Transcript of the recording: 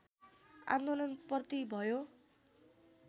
आन्दोलनप्रति भयो